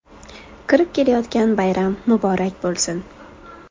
Kirib kelayotgan bayram muborak bo‘lsin!